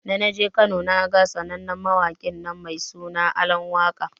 Da naje Kano naga sanannen mawaƙinnan mai suna Alan waka.